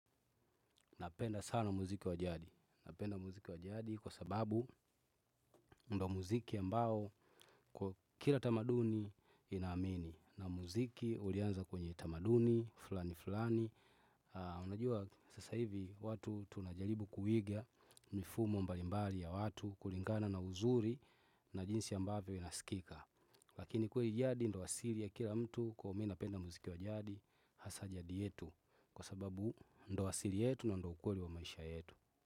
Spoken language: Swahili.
Napenda sana muziki wa jadi napenda muziki wa jadi kwa sababu ndo muziki ambao kwa kila tamaduni inaamini na muziki ulianza kwenye utamaduni fulani fulani. Unajua sasa hivi watu tunajaribu kuiga mifumo mbalimbali ya watu kulingana na uzuri na jinsi ya ambavyo inaskika. Lakini kwa jadi ndio wasili ya kila mtu kwahivyo mimi napenda muziki wa jadi hasa jadi yetu. Kwa sababu ndio wasili yetu na ndo ukweli wa maisha yetu.